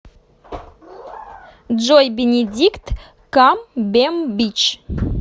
джой бенедикт камбембич